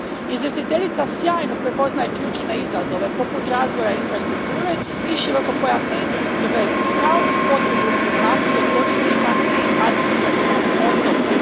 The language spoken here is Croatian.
Izvjestiteljica sjajno prepoznaje ključne izazove poput razvoja infrastrukture i širokopojasne internetske veze, kao i potrebu edukacije korisnika i administrativnog osoblja.